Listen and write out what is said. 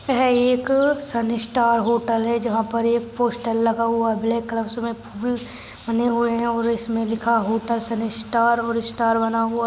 यह एक sun star hotel है। जहा पर एक पोस्टर लगा हुआ है ब्लॅक ब बने हुए है और इसमे लिखा हुआ है होटल सन स्टार और स्टार बना हुआ--